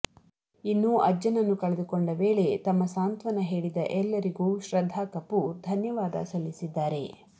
ಇನ್ನು ಅಜ್ಜನನ್ನು ಕಳೆದುಕೊಂಡ ವೇಳೆ ತಮ್ಮ ಸಾಂತ್ವನ ಹೇಳಿದ ಎಲ್ಲರಿಗೂ ಶ್ರದ್ಧಾ ಕಪೂರ್ ಧನ್ಯವಾದ ಸಲ್ಲಿಸಿದ್ದಾರೆ